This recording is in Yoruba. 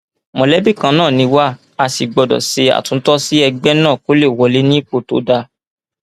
mọlẹbí kan náà ni wà á sì gbọdọ ṣe àtúntò sí ẹgbẹ náà kó lè wà ní ipò tó dáa